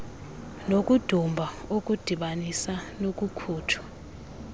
nokudumba okudibanisa nokukhutshwa